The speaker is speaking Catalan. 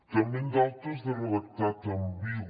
també en d’altres de redactat ambigu